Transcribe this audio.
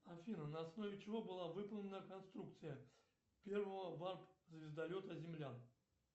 афина на основе чего была выполнена конструкция первого варп звездолета землян